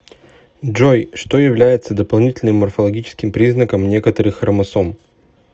джой что является дополнительным морфологическим признаком некоторых хромосом